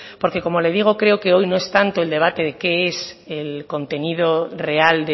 porque como le digo creo que hoy no es tanto el debate de qué es el contenido real